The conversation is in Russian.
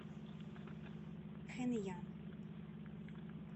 хэнъян